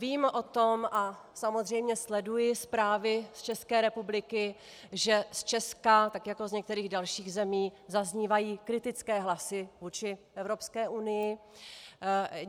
Vím o tom a samozřejmě sleduji zprávy z České republiky, že z Česka tak jako z některých dalších zemí zaznívají kritické hlasy vůči Evropské unii.